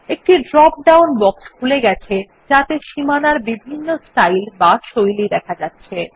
একটি drop down box খুলে গেছে যাতে সীমানার বিভিন্ন স্টাইল বা শৈলী দেখা যাচ্ছে